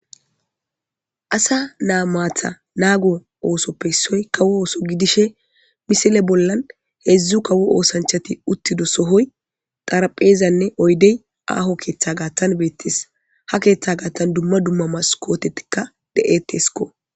asa naa maatha naago oosoppe issoy kawo ooso gidishe misile bollan heedzdzu kawo oosanchati uttido sohoy xarpheezanne oydey aaho keeththa gaathan beettis ha keeththa gaatthan dumma dumma mas kotetikka de7etesko